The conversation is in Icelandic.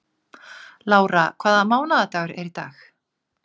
Lára, hvaða mánaðardagur er í dag?